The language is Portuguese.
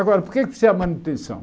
Agora, por que é que precisa de manutenção?